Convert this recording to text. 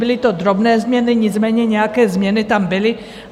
Byly to drobné změny, nicméně nějaké změny tam byly.